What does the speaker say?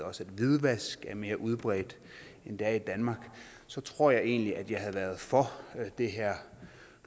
også at hvidvask er mere udbredt end det er i danmark så tror jeg egentlig at jeg havde været for det her